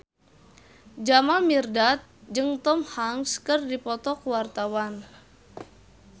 Jamal Mirdad jeung Tom Hanks keur dipoto ku wartawan